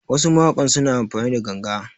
Wasu mawakan suna amfani da ganga